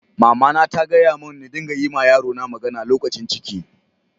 Mama na ta gaya mun n'dinga yi ma yaro na magana lokacin ciki.